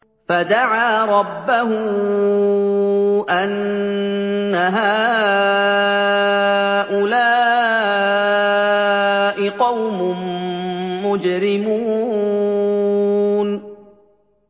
فَدَعَا رَبَّهُ أَنَّ هَٰؤُلَاءِ قَوْمٌ مُّجْرِمُونَ